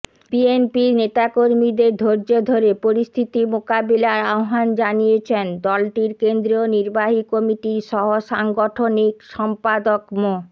বিএনপির নেতাকর্মীদের ধৈর্য ধরে পরিস্থিতি মোকাবিলার আহ্বান জানিয়েছেন দলটির কেন্দ্রীয় নির্বাহী কমিটির সহসাংগঠনিক সম্পাদক মো